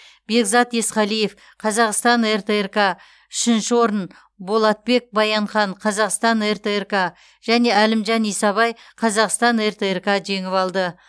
бекзат есқалиев қазақстан ртрк үшінші орын болатбек баянхан қазақстан ртрк және әлімжан исабай қазақстан ртрк жеңіп алды